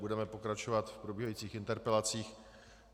Budeme pokračovat v probíhajících interpelacích.